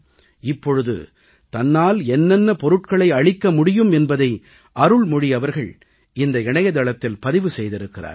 இப்பொழுது தன்னால் என்னென்ன பொருட்களை அளிக்க முடியும் என்பதை அருள்மொழி அவர்கள் இந்த இணையதளத்தில் பதிவு செய்திருக்கிறார்கள்